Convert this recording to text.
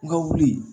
N ka wuli